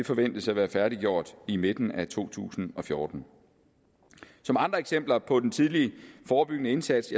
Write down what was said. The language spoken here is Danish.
forventes at være færdig i midten af to tusind og fjorten som andre eksempler på den tidlige forebyggende indsats